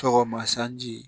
Tɔgɔma sanji